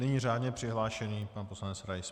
Nyní řádně přihlášený pan poslanec Rais.